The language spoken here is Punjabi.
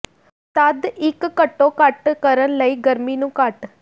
ਤਦ ਇੱਕ ਘੱਟੋ ਘੱਟ ਕਰਨ ਲਈ ਗਰਮੀ ਨੂੰ ਘੱਟ